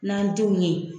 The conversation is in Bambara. N'an denw ye